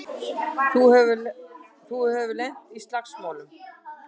Þú hefur lent í slagsmálum!